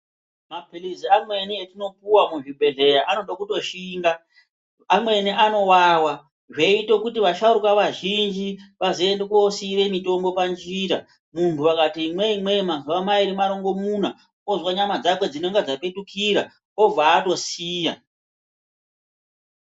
Mapilizi amweni etinopuwa muzvibhehleya anode kutoshinga ngekuti amweni anowawa zveiite kuti vasharukwa vazhinji vazoende kosiira mutombo panjira. Muntu akati imweyi imweyi mazuwa mairi marongomuna, ozwa nyama dzake dzinenge dzaketutira obva atosiya.